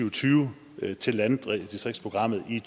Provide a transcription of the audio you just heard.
og tyve til landdistriktsprogrammet i